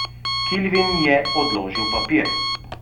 Kilvin je odložil papir.